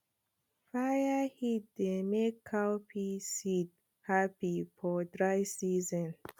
fire heat dey make cowpea seed happy for dry season